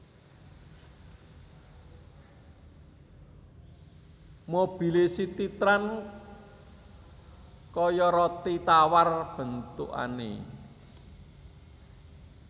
Mobile CitiTrans koyo roti tawar bentukane